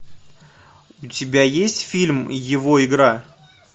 у тебя есть фильм его игра